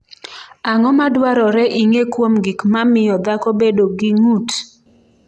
Ang’o ma dwarore ing’e kuom gik ma miyo dhako bedo gi ng’ut?